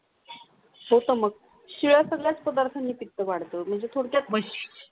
हो मग शिळे पदार्थणि पित्त वाढतं म्हणजे थोडक्यात